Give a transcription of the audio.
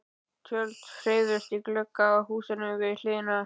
Tjöld hreyfðust í glugga á húsinu við hliðina.